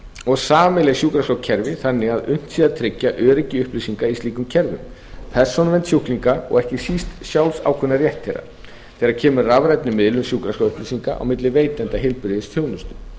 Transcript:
og sameiginleg sjúkraskrárkerfi þannig að unnt sé að tryggja öryggi upplýsinga í slíkum kerfum persónuvernd sjúklinga og ekki síst sjálfsákvörðunarrétt þeirra þegar kemur að rafrænni miðlun sjúkraskrárupplýsinga á milli veitenda heilbrigðisþjónustu